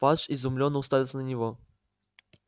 фадж изумлённо уставился на него